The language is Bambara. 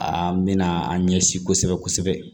A mɛna an ɲɛsin kosɛbɛ kosɛbɛ